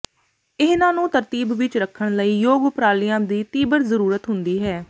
ਇਹਨਾਂ ਨੂੰ ਤਰਤੀਬ ਵਿੱਚ ਰੱਖਣ ਲਈ ਯੋਗ ਉਪਰਾਲਿਆਂ ਦੀ ਤੀਬਰ ਜ਼ਰੂਰਤ ਹੁੰਦੀ ਹੈ